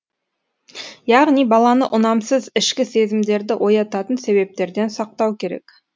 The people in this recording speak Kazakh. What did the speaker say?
яғни баланы ұнамсыз ішкі сезімдерді оятатын себептерден сақтау керек